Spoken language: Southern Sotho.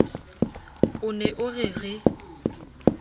o ne o re re